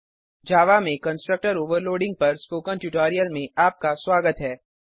Javaजावा में constructor overloading पर spoken tutorial में आपका स्वागत है